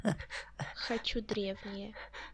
хочу древние